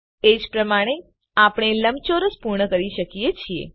એજ પ્રમાણે આપણે લંબચોરસ પૂર્ણ કરી શકીએ છીએ